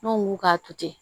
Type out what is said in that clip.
N'o mugu k'a to ten